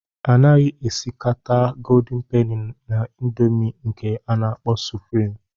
A naghị esikata Goldin peni na ịndomii nke a na-akpọ suprịm.